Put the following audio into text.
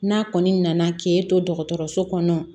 N'a kɔni nana k'e to dɔgɔtɔrɔso kɔnɔ